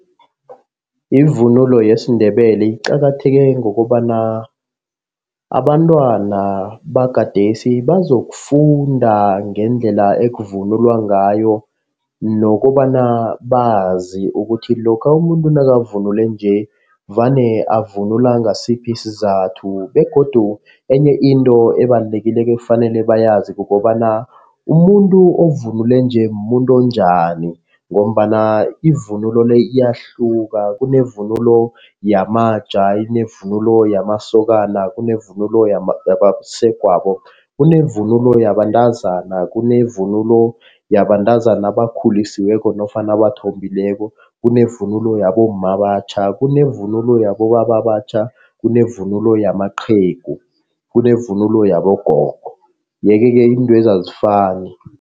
Ivunulo yesiNdebele iqakatheke ngokobana abantwana bagadesi bazokufunda ngendlela ekuvunulwa ngayo. Nokobana bazi ukuthi lokha umuntu nakavunule nje vane avunula ngasiphi isizathu begodu enye into ebalulekileko ekufanele bayazi kukobana umuntu ovunule nje muntu onjani. Ngombana ivunulo le iyahluka kunevunulo yamaja, kunevunulo yamasokana, kunevunulo yabasegwabo, kunevunulo yabantazana, kunevunulo yabantazana abakhulisiweko nofana abathombileko, kunevunulo yabomma abatjha. Kunevunulo yabobaba abatjha, kunevunulo yamaqhegu begodu kunevunulo yabogogo yeke-ke iintwezi azifani.